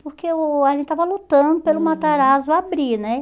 Porque eu a gente tava lutando pelo Matarazzo abrir, né? Uhum